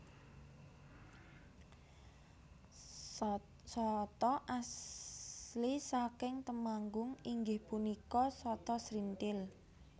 Sata asli saking Temanggung inggih punika sata srinthil